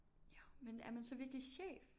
Jo men er man så virkelig chef